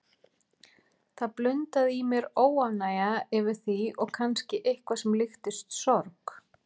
Það blundaði í mér óánægja yfir því og kannski eitthvað sem líktist sorg.